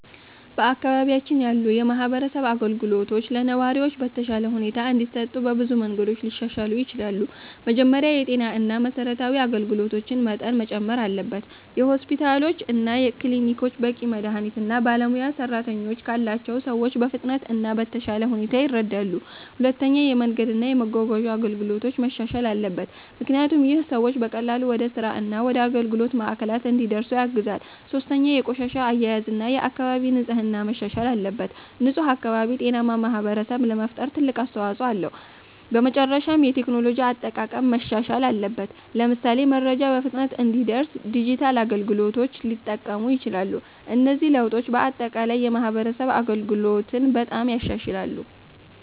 በአካባቢያችን ያሉ የማህበረሰብ አገልግሎቶች ለነዋሪዎች በተሻለ ሁኔታ እንዲሰጡ በብዙ መንገዶች ሊሻሻሉ ይችላሉ። መጀመሪያ የጤና እና የመሠረታዊ አገልግሎቶች መጠን መጨመር አለበት። ሆስፒታሎች እና ክሊኒኮች በቂ መድሀኒት እና ባለሙያ ሰራተኞች ካላቸው ሰዎች በፍጥነት እና በተሻለ ሁኔታ ይረዳሉ። ሁለተኛ የመንገድ እና የመጓጓዣ አገልግሎቶች መሻሻል አለበት፣ ምክንያቱም ይህ ሰዎች በቀላሉ ወደ ስራ እና ወደ አገልግሎት ማዕከላት እንዲደርሱ ያግዛል። ሶስተኛ የቆሻሻ አያያዝ እና የአካባቢ ንጽህና መሻሻል አለበት። ንፁህ አካባቢ ጤናማ ማህበረሰብ ለመፍጠር ትልቅ አስተዋጽኦ አለው። በመጨረሻም የቴክኖሎጂ አጠቃቀም ማሻሻል አለበት፣ ለምሳሌ መረጃ በፍጥነት እንዲደርስ ዲጂታል አገልግሎቶች ሊጠቀሙ ይችላሉ። እነዚህ ለውጦች በአጠቃላይ የማህበረሰብ አገልግሎትን በጣም ይሻሻላሉ።